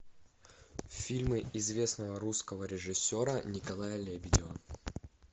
фильмы известного русского режиссера николая лебедева